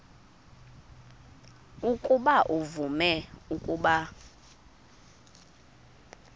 ukuba uvume ukuba